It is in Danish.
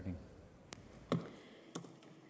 så